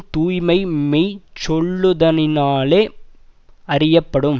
தூய்மை மெய்சொல்லுதலினாலே யறியப்படும்